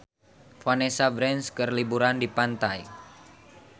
Vanessa Branch keur liburan di pantai